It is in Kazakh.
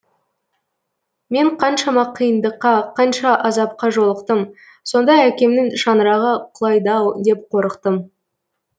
мен қаншама қиындыққа қанша азапқа жолықтым сонда әкемнің шаңырағы құлайды ау деп қорықтым